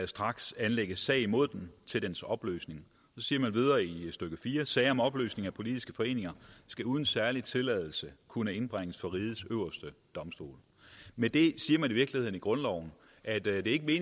straks anlægges sag imod den til dens opløsning så siger man videre i stykke 4 sager om opløsning af politiske foreninger skal uden særlig tilladelse kunne indbringes for rigets øverste domstol med det siger man i virkeligheden i grundloven at det ikke er